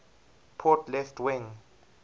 port left wing